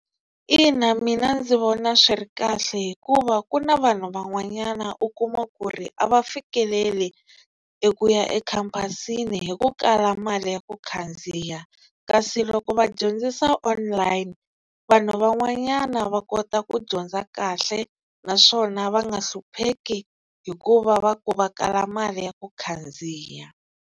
Ina mina ndzi vona swi ri kahle hikuva ku na vanhu van'wanyana u kuma ku ri a va fikeleli eku ya ekhampasini hi ku kala mali ya ku khandziya kasi loko va dyondzisa online vanhu van'wanyana va kota ku dyondza kahle naswona va nga hlupheki hi ku va va ku va kala mali ya ku khandziya.